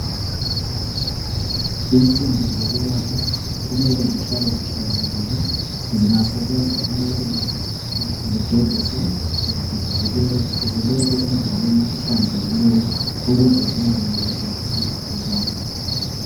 Insimbi zokwelapha kumele zihlale zihlanzekile. Zingasebenza kumele sigeziswe zibekwe endaweni ehlanzekileyo ukuze zingamemethekisi igcikwane.